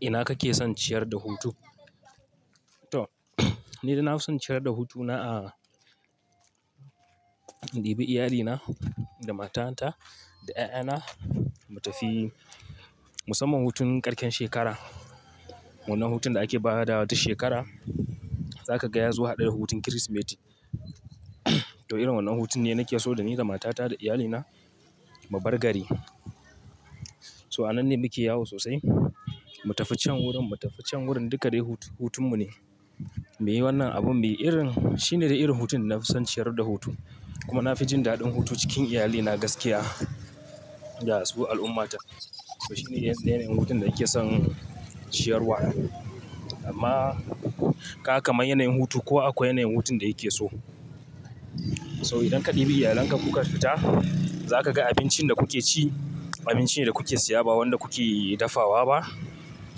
Ina kake son ciyar da hutu? To, ni da na fi son ciyar da hutu na a, in ɗibi iyalina da matata da ƴaƴana mu tafi musamman hutun ƙarshen shekara, wannan hutun da ake bada wa ta shekara, zaka gaya zo ya haɗu da hutun Kirsimeti. To irin wannan hutun ne nake so da ni da matata da iyalina mu bar gari. So a nan ne muke yawo sosai, mu tafi can wurin, mu tafi can wurin duka dai hutun mu ne. Me yi wannan abun me irin, shine da irin hutun na fi son ciyar da hutu. Kuma na fi jin daɗin hutu cikin iyalina gaskiya da su al'ummata. To shine yanayin hutun da nake son ciyarwa. Amma ka kamar yanayin hutu kowa akwai yanayin hutun da yake so. So idan ka ɗebi iyalanka kuka fita, zaka ga abincin da kuke ci, abincin ne da kuke siya ba wanda kuke dafawa ba.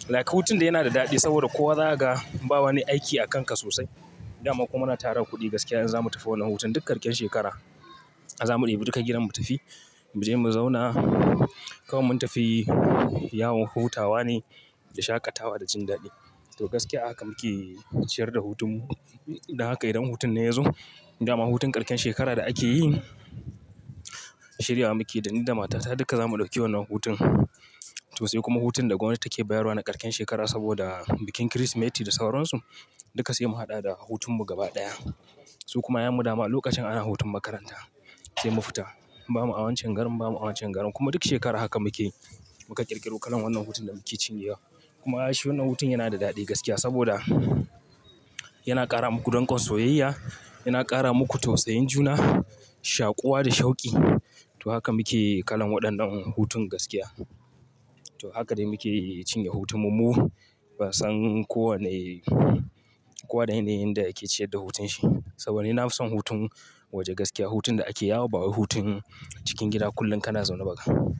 Like hutun dai yana da daɗi saboda kowa zakaga bawa ni aiki a kanka sosai. Dama kuma muna tara kuɗi gaskiya in zamu tafi wannan hutun duk ƙarshen shekara, a zamu ɗebi duka gidan mu tafi, mu je mu zauna. Kaman mun tafi yawon hutawa ne da shakatawa da jin daɗi. To gaskiya a haka muke ciyar da hutun mu. Dan haka idan hutun nan yazo dama hutun ƙarshen shekara da ake yi, shiryawa muke da ni da matata duka za mu ɗauki wannan hutun. To sai kuma hutun da gwamnati take bayarwa na ƙarshen shekara saboda bikin Kirsimeti da sauransu. Duka sai mu haɗa da hutun mu gaba ɗaya. Su kuma ƴaƴan mu dama lokacin ana hutun makaranta sai mu fita. Ba mu a wancan garin, ba mu a wancan garin kuma duk shekara haka muke yi. Muka ƙirƙiro kalan wannan hutun da muke cinyewa. Kuma shi wannan hutun yana da daɗi gaskiya saboda yana ƙara muku dangon soyayya, yana ƙara muku tausayin juna, shakuwa da shauki. To haka muke kalan waɗannan hutun gaskiya. To haka dai muke cinye hutun mu. Ba san ko wane, ko wane yanayin da yake ciyar da hutun shi. Saboda ni na fi son hutun waje gaskiya. Hutun da ake yawo ba wai hutun cikin gida kullum kana zaune bakan.